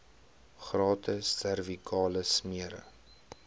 gratis servikale smere